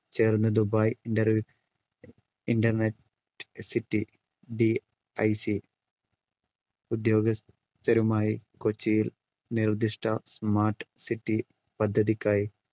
ചേർന്ന് Dubai inter internet cityDIC ഉദ്യോഗസ്ഥരുമായി കൊച്ചിയിൽ നിർദിഷ്ട smart city പദ്ധതിക്കായി